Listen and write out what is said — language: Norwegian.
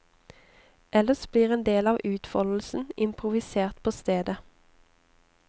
Ellers blir endel av utfoldelsen improvisert på stedet.